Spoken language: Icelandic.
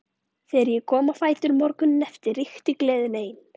Þegar ég kom á fætur morguninn eftir ríkti gleðin ein.